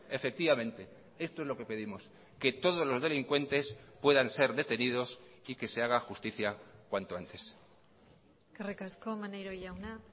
efectivamente esto es lo que pedimos que todos los delincuentes puedan ser detenidos y que se haga justicia cuanto antes eskerrik asko maneiro jauna